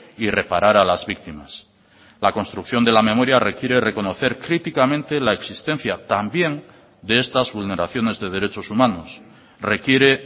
y reparar a las víctimas la construcción de la memoria requiere reconocer críticamente la existencia también de estas vulneraciones de derechos humanos requiere